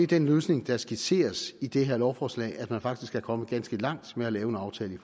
den løsning der skitseres i det her lovforslag og man er faktisk kommet ganske langt med at lave en aftale